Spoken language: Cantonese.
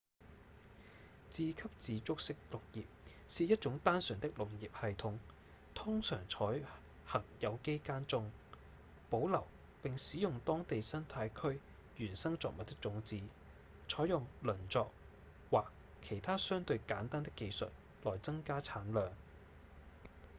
自給自足式農業是一種單純的農業系統通常採行有機耕種保留並使用當地生態區原生作物的種子採用輪作或其他相對簡單的技術來增加產量